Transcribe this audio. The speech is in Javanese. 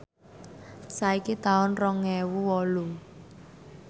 saiki taun rong ewu wolu